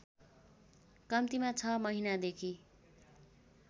कम्तिमा ६ महिनादेखि